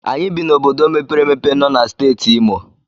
Anyị bi n'obodo mepere emepe nọ na Steeti Imo.